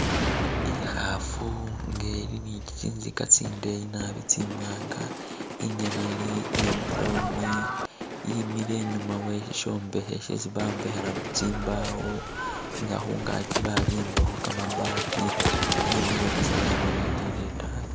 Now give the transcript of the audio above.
I'khaafu nga eli ni tsinzika tsindeyi naabi tsimwaanga i'ngene eli ya'brown yimile e'nyuma weshishombekhe shesi bombekhela tsimbawo nga khungaki babimbakho kamabati yimile busa yalolelele e'taayi